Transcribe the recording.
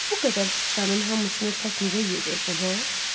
Bu qədər siçanın hamısını tək necə yeyəcəksən, hə?